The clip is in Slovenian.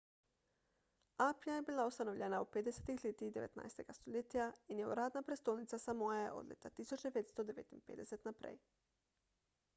apia je bila ustanovljena v 50 letih 19 stoletja in je uradna prestolnica samoe od leta 1959 naprej